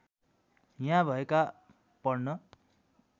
यहाँ भएका पढ्न